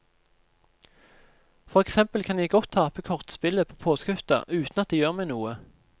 For eksempel kan jeg godt tape kortspillet på påskehytta uten at det gjør meg noe.